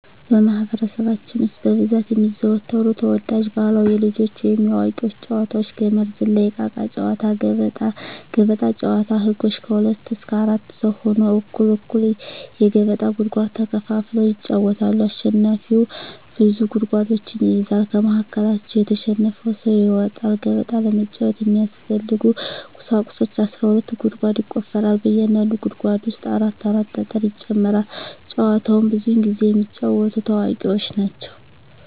በማህበረሰባችን ውስጥ በብዛት የሚዘወተሩ ተወዳጅ ባህላዊ የልጆች ወይንም የአዋቂዎች ጨዋታዎች - ገመድ ዝላይ፣ እቃቃ ጨዎታ፣ ገበጣ። ገበጣ ጨዎታ ህጎች ከሁለት እስከ አራት ሰው ሁነው እኩል እኩል የገበጣ ጉድጓድ ተከፋፍለው ይጫወታሉ አሸናፊው ብዙ ጉድጓዶችን ይይዛል ከመሀከላቸው የተሸነፈው ሰው ይወጣል። ገበጣ ለመጫወት የሚያስፈልጊ ቁሳቁሶች አስራ ሁለት ጉድጓድ ይቆፈራል በእያንዳንዱ ጉድጓድ ውስጥ አራት አራት ጠጠር ይጨመራል። ጨዎቸውን ብዙውን ጊዜ የሚጫወቱት አዋቂዎች ናቸው።